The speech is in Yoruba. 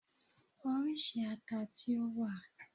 Oríṣi ata tí ó wà?